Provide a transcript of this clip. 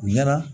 U ɲɛna